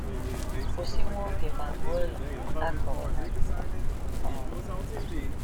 Kwụsị nwa oge ma gụọ igbe A Kọrọ na Benin um.